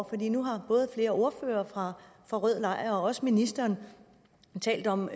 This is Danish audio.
fordi nu har både flere ordførere fra rød lejr og også ministeren talt om